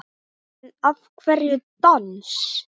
En af hverju dans?